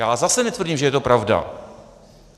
Já zase netvrdím, že je to pravda.